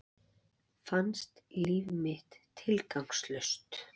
Fannst líf mitt tilgangslaust.